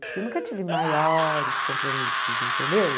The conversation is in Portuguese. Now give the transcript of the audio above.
Porque eu nunca tive maiores compromissos, entendeu?